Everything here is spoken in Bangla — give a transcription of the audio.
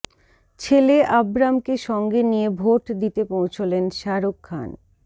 ছেলে আব্রামকে সঙ্গে নিয়ে ভোট দিতে পৌঁছলেন শাহরুখ খান